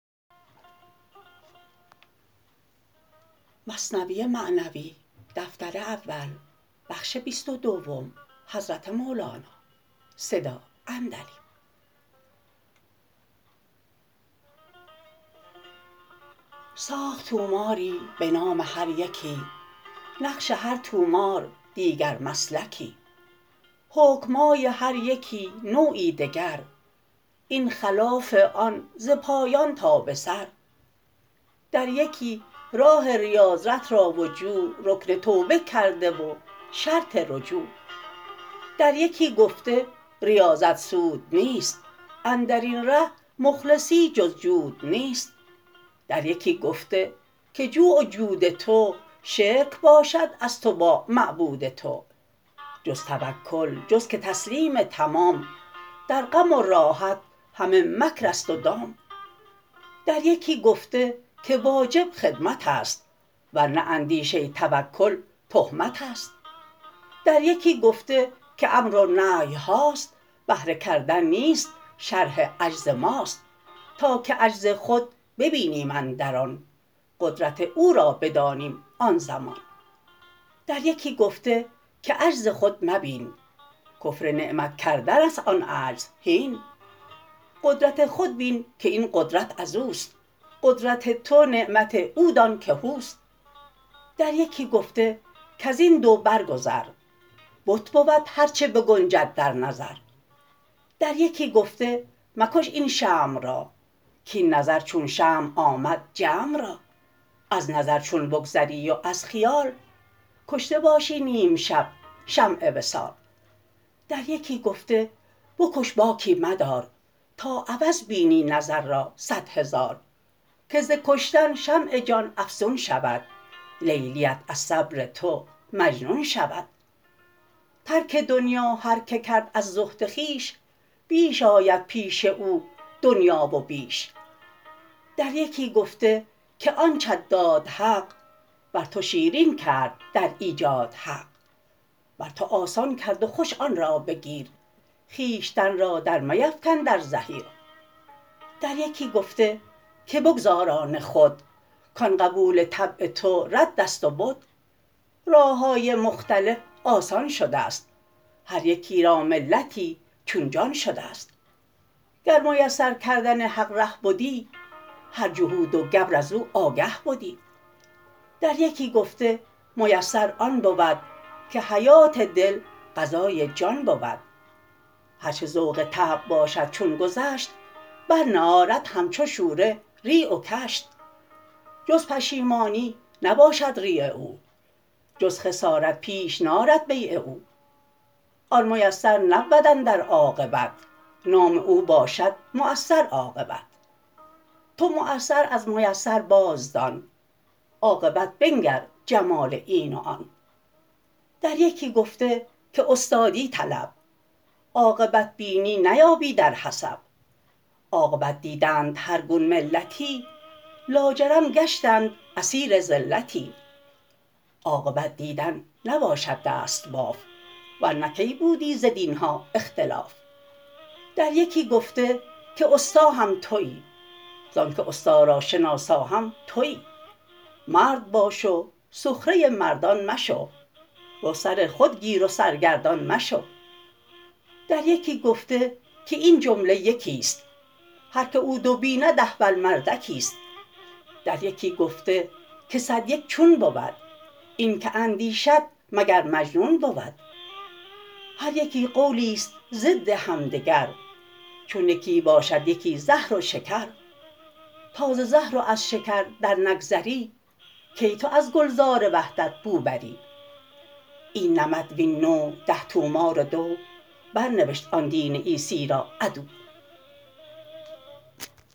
ساخت طوماری به نام هر یکی نقش هر طومار دیگر مسلکی حکم های هر یکی نوعی دگر این خلاف آن ز پایان تا به سر در یکی راه ریاضت را و جوع رکن توبه کرده و شرط رجوع در یکی گفته ریاضت سود نیست اندرین ره مخلصی جز جود نیست در یکی گفته که جوع و جود تو شرک باشد از تو با معبود تو جز توکل جز که تسلیم تمام در غم و راحت همه مکر ست و دام در یکی گفته که واجب خدمتست ور نه اندیشه توکل تهمتست در یکی گفته که امر و نهی هاست بهر کردن نیست شرح عجز ماست تا که عجز خود بینیم اندر آن قدرت او را بدانیم آن زمان در یکی گفته که عجز خود مبین کفر نعمت کردن است آن عجز هین قدرت خود بین که این قدرت ازوست قدرت تو نعمت او دان که هوست در یکی گفته کزین دو بر گذر بت بود هر چه بگنجد در نظر در یکی گفته مکش این شمع را کاین نظر چون شمع آمد جمع را از نظر چون بگذری و از خیال کشته باشی نیم شب شمع وصال در یکی گفته بکش باکی مدار تا عوض بینی نظر را صد هزار که ز کشتن شمع جان افزون شود لیلی ات از صبر تو مجنون شود ترک دنیا هر که کرد از زهد خویش بیش آید پیش او دنیا و بیش در یکی گفته که آنچت داد حق بر تو شیرین کرد در ایجاد حق بر تو آسان کرد و خوش آن را بگیر خویشتن را در میفکن در زحیر در یکی گفته که بگذار آن خود کان قبول طبع تو رد ست و بد راه های مختلف آسان شدست هر یکی را ملتی چون جان شدست گر میسر کردن حق ره بدی هر جهود و گبر ازو آگه بدی در یکی گفته میسر آن بود که حیات دل غذای جان بود هر چه ذوق طبع باشد چون گذشت بر نه آرد همچو شوره ریع و کشت جز پشیمانی نباشد ریع او جز خسارت پیش نارد بیع او آن میسر نبود اندر عاقبت نام او باشد معسر عاقبت تو معسر از میسر بازدان عاقبت بنگر جمال این و آن در یکی گفته که استادی طلب عاقبت بینی نیابی در حسب عاقبت دیدند هر گون ملتی لاجرم گشتند اسیر زلتی عاقبت دیدن نباشد دست باف ورنه کی بودی ز دین ها اختلاف در یکی گفته که استا هم توی زانک استا را شناسا هم توی مرد باش و سخره مردان مشو رو سر خود گیر و سرگردان مشو در یکی گفته که این جمله یکیست هر که او دو بیند احول مردکی ست در یکی گفته که صد یک چون بود این کی اندیشد مگر مجنون بود هر یکی قولیست ضد هم دگر چون یکی باشد یکی زهر و شکر تا ز زهر و از شکر در نگذری کی تو از گلزار وحدت بو بری این نمط وین نوع ده طومار و دو بر نوشت آن دین عیسی را عدو